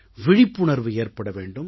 விழிப்புணர்வு ஏற்பட வேண்டும்